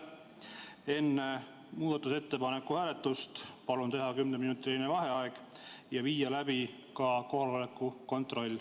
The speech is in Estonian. Enne muudatusettepaneku hääletust palun teha kümneminutiline vaheaeg ja viia läbi ka kohaloleku kontroll.